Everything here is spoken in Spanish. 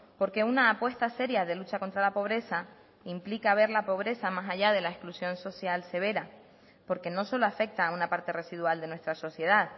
porque una apuesta seria de lucha contra la pobreza implica ver la pobreza más allá de la exclusión social severa porque no solo afecta a una parte residual de nuestra sociedad